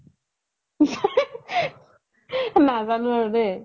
নাজানো আৰু দেই